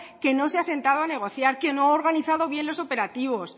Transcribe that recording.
a negociar que no ha organizado bien los operativos